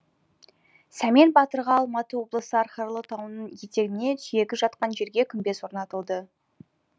сәмен батырға алматы облысы архарлы тауының етегінде сүйегі жатқан жерге күмбез орнатылды